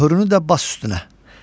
Möhrünü də bas üstünə.